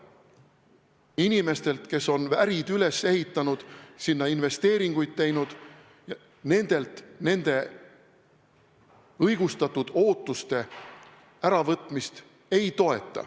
Inimesed on ärid üles ehitanud, sinna investeeringuid teinud, me ei toeta nende õigustatud ootuste petmist.